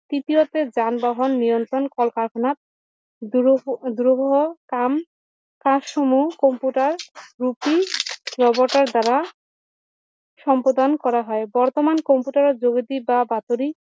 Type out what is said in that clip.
তৃতীয়তে যান বাহন নিয়ন্ত্ৰণ কল কাৰখানাত কাম কাজ সমূহ কম্পিউটাৰ ৰূপী ৰবটৰ দ্বাৰা সম্পাদন কৰা হয় বৰ্তমান কম্পিউটাৰ যোগেদি বা বাতৰি